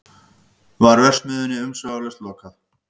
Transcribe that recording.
Var verksmiðjunni umsvifalaust lokað